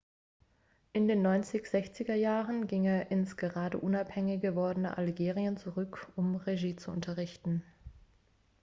in den 1960er jahren ging er ins gerade unabhängig gewordene algerien zurück um regie zu unterrichten